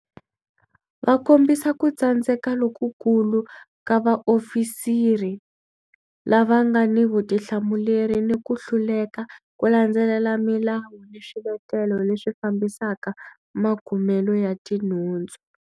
Va kombisa ku tsandzeka lokukulu ka vaofisiri lava nga ni vutihlamuleri ni ku hluleka ku landzelela milawu ni swiletelo leswi fambisaka makumelo ya tinhundzu.